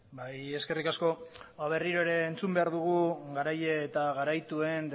bai eskerrik asko berriro entzun behar dugu garaile eta garaituen